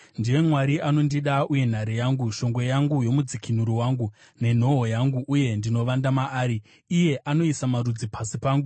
Ndiye Mwari anondida uye nhare yangu, shongwe yangu nomudzikinuri wangu, nenhoo yangu uye ndinovanda maari, iye anoisa marudzi pasi pangu.